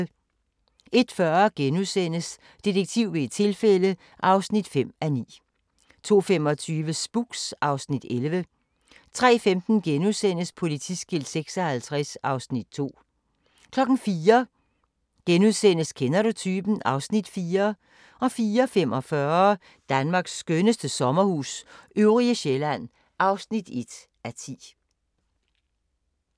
01:40: Detektiv ved et tilfælde (5:9)* 02:25: Spooks (Afs. 11) 03:15: Politiskilt 56 (Afs. 2)* 04:00: Kender du typen? (Afs. 4)* 04:45: Danmarks skønneste sommerhus – Øvrige Sjælland (1:10)